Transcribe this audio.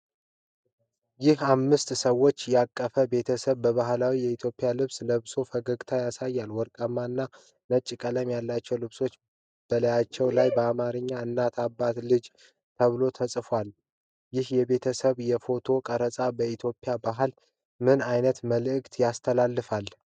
ይህ አምስት ሰዎችን ያቀፈ ቤተሰብ በባህላዊ የኢትዮጵያ ልብስ ለብሶ ፈገግታ ያሳያል። ወርቃማ እና ነጭ ቀለም ያላቸው ልብሶች በላያቸው ላይ በአማርኛ "እናት"፣ "አባት"፣ "ልጅ" ተብሎ ተጽፏል። ይህ የቤተሰብ የፎቶ ቀረጻ በኢትዮጵያ ባህል ምን ዓይነት መልዕክት ያስተላልፋል?